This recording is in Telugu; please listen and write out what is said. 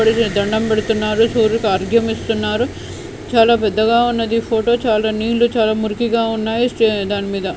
సూర్యుడికి దండంపెడుతున్నారు సూర్యుడికి ఆర్ఘ్యం ఇస్తున్నారు చాలా పెద్దగా ఉన్నది ఫోటో చాలా నీళ్లు చాలా మురికిగా ఉన్నాయి స్టే దాని మీద .